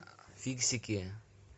фиксики